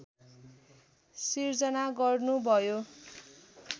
सिर्जना गर्नुभयो